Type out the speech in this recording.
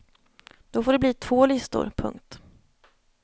Då får det bli två listor. punkt